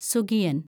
സുഗിയന്‍